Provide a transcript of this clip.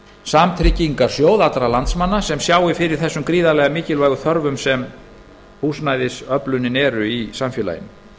samtryggingarsjóð allra landsmanna sem sjái fyrir þessum mikilvægu þörfum sem húsnæðisöflunin er í samfélaginu